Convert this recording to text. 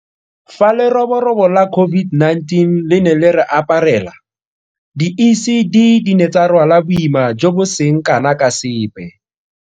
Fa leroborobo la COVID-19 le ne le re aparela, di ECD di ne tsa rwala boima jo bo seng kana ka sepe.